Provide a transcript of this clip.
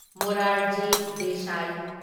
Morarji Desai